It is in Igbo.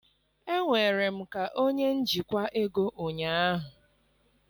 Enwere m ka onye njikwa ego ụnyaahụ